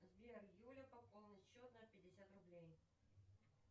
сбер юля пополнить счет на пятьдесят рублей